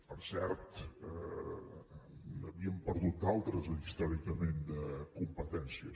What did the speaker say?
per cert n’havíem perdut d’altres històricament de competències